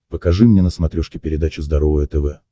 покажи мне на смотрешке передачу здоровое тв